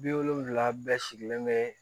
Bi wolonfila bɛɛ sigilen bɛ